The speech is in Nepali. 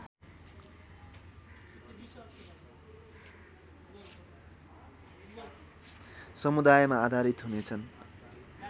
समुदायमा आधारित हुनेछन्